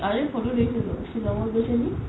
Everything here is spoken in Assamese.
কাল ফটৌ দেখিলো ছিলঙত গৈছে নেকি ?